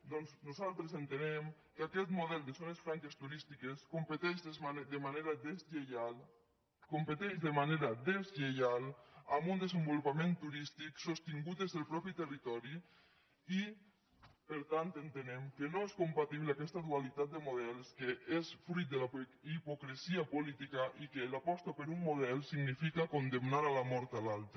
doncs nosaltres entenem que aquest model de zones franques turístiques competeix de manera deslleial amb un desenvolupament turístic sostingut des del mateix territori i per tant entenem que no és compatible aquesta dualitat de models que és fruit de la hipocresia política i que l’aposta per un model significa condemnar a mort l’altre